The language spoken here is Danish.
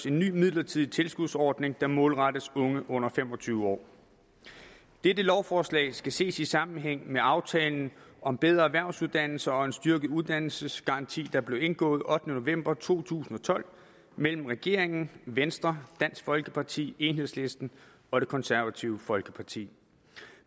en ny midlertidig tilskudsordning der målrettes unge under fem og tyve år dette lovforslag skal ses i sammenhæng med aftalen om bedre erhvervsuddannelser og en styrket uddannelsesgaranti der blev indgået den ottende november to tusind og tolv mellem regeringen venstre dansk folkeparti enhedslisten og det konservative folkeparti